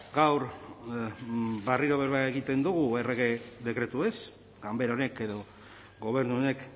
gaur berriro berba egiten dugu errege dekretuez ganbera honek edo gobernu honek